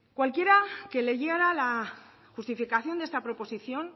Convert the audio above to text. cualquiera que leyera la justificación de esta proposición